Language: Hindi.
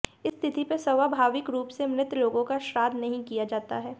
इस तिथि पर स्वाभाविक रूप से मृत लोगों का श्राद्ध नहीं किया जाता है